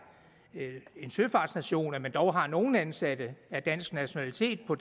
en søfartsnation at man dog har nogle ansatte af dansk nationalitet på